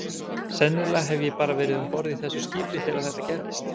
Sennilega hef ég bara verið um borð í þessu skipi þegar þetta gerðist.